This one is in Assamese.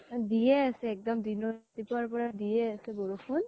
দিয়ে আছে এক্দম । দিনৰ, ৰাতিপুৱা ৰ পৰা দিয়ে আছে বৰষুণ